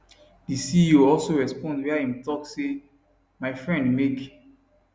di ceo also respond wia im tok say my friend make